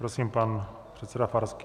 Prosím, pan předseda Farský.